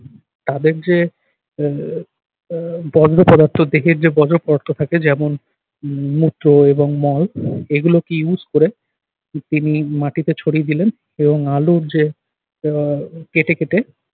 তাদের যে আহ আহ বর্জ্য পদার্থ দেহের যে বর্জ্য পদার্থ থাকে যেমন মূত্র এবং মল এগুলোকে use করে তিনি মাটিতে ছড়িয়ে দিলেন এবং আলুর যে আহ কেটে কেটে